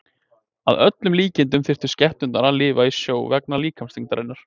Að öllum líkindum þyrftu skepnurnar að lifa í sjó vegna líkamsþyngdarinnar.